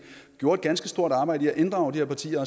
gjorde et ganske stort arbejde ved at inddrage de her partier